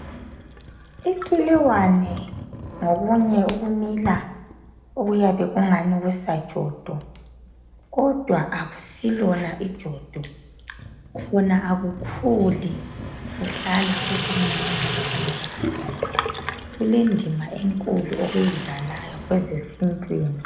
Ikiliwane ngokunye okumila okuyabe kungani kusajodo kodwa akusilona ijodo khona akukhuli kuhlala kukucinyane kunjalo. kulendima enkulu okuyidlalayo kwezesintwini.